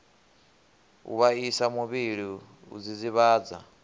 u vhaisa muvhili u dzidzivhadza